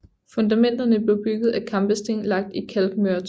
Fundamenterne blev bygget af kampesten lagt i kalkmørtel